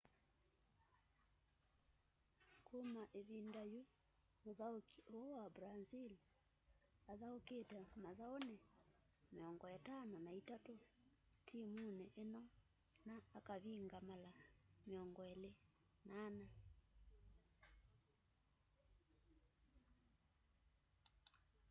kuma ivinda yu muthauki uu wa brazil athaukite mathauni 53 timuni ino na akavinga mala 24